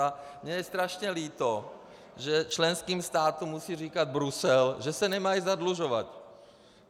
A je mně strašně líto, že členským státům musí říkat Brusel, že se nemají zadlužovat.